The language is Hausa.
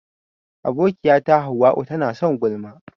Abokiyata hauwa'u tana son gulma.